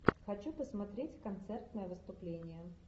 хочу посмотреть концертное выступление